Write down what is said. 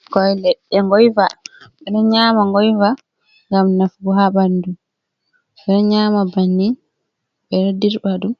Ɓikkoi leɗɗe ngoiva, ɓe ɗo nyaama ngoiva ngam nafugo haa ɓandu, ɓe ɗo nyaama banni ɓe ɗo dirɓa ɗum